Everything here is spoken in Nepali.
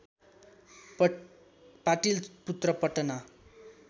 पाटलि पुत्र पटना